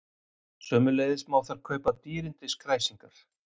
Sömuleiðis má þar kaupa dýrindis kræsingar